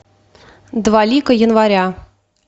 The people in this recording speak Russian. два лика января